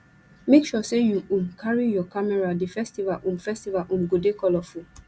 make sure sey you um carry your camera di festival um festival um go dey colorful